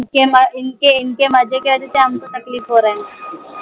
इनके म इनके इनके मजे के वजहसे हमको तकलीफ हो राहा है l